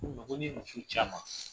Ko n ma ko ni ye muso ci a man